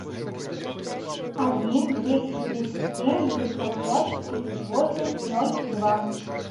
один двести тридцать семь девятьсот пять тридцать восемь ноль два